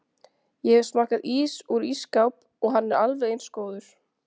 Ég hef smakkað ís úr ísskáp og hann er alveg eins góður